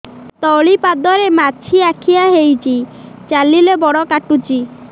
ତଳିପାଦରେ ମାଛିଆ ଖିଆ ହେଇଚି ଚାଲିଲେ ବଡ଼ କାଟୁଚି